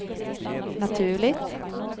naturligt